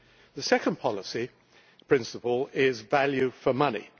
The second policy principle is value for money.